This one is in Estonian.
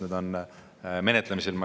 Need on menetlemisel.